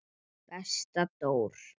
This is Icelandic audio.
Besta Dór.